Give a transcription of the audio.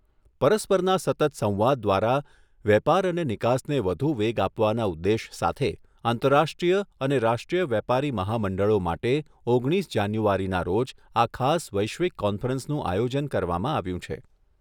પરસ્પરના સતત સંવાદ દ્વારા વેપાર અને નિકાસને વધુ વેગ આપવાના ઉદ્દેશ સાથે આંતરરાષ્ટ્રીય અને રાષ્ટ્રીય વેપારી મહામંડળો માટે ઓગણીસ જાન્યુઆરીના રોજ આ ખાસ વૈશ્વિક કોન્ફરન્સનું આયોજન કરવામાં આવ્યું છે.